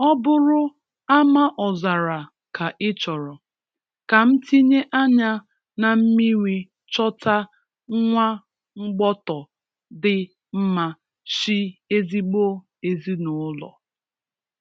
Ọ bụrụ Amaọzara ka ị chọrọ', Kam tinye anya na mmiri Chọta nwa mgbọtọ dị mma, shi ezigbo ezinụlọ